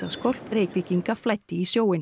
skólp Reykvíkinga flæddi í sjóinn